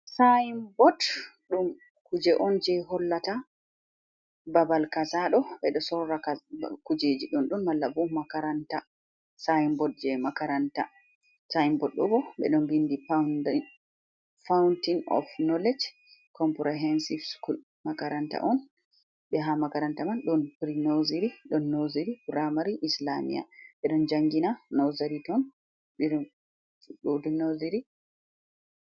Sayin bot ɗum kuje'on je hollata babal kazaɗoo ɓeɗo sorra Kujeji ɗon ɗon malla bo makaranta. Sayin bot je makaranta, Sayin bot ɓeɗon mbindi foundin fautein of noulej Kompirihensif Sukul. Makaranta'on be ha makaranta man ɗon Piri noziri, nooziri ɗon nosiri be Puramari islamia ɓeɗon jangina ɗon noziri.